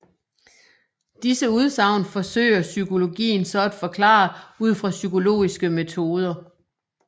Disse udsagn forsøger psykologien så at forklare ud fra psykologiske metoder